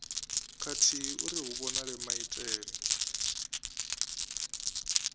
khathihi uri hu vhonale maitele